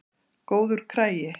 Góður kragi.